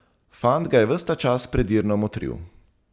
Fant ga je ves ta čas predirno motril.